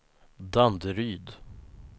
Danderyd